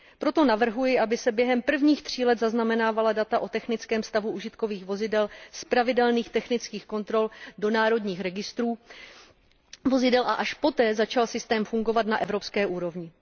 Proto navrhuji, aby se během prvních tří let zaznamenávala data o technickém stavu užitkových vozidel z pravidelných technických kontrol do národních registrů vozidel a až poté začal systém fungovat na evropské úrovni.